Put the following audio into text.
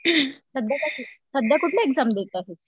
सध्या कश्या, सध्या कुठल्या एक्झाम देत आहेस ?